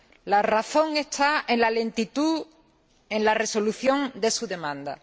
La razón está en la lentitud en la resolución de su demanda.